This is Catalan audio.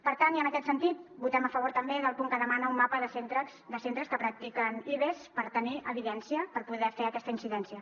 per tant i en aquest sentit votem a favor també del punt que demana un mapa de centres que practiquen ives per tenir evidència per poder fer aquesta incidència